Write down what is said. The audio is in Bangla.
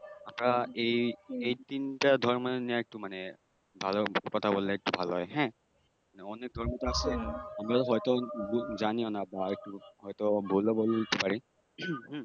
আমরা এই তিনটা ধর্ম নিয়েই মানে একটু কথা বললেই ভাল হয় হ্যাঁ অনেক ধর্মতো আছে আমরা হয়তো জানিও না বা হয়ত একটু বললেও বলতে পার হম